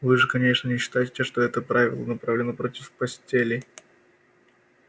вы же конечно не считаете что это правило направлено против постелей